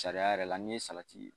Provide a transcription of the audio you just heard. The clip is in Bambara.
Sariya yɛrɛ la n'i ye salati